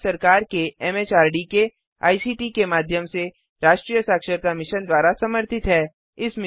यह भारत सरकार एमएचआरडी के आईसीटी के माध्यम से राष्ट्रीय साक्षरता मिशन द्वारा समर्थित है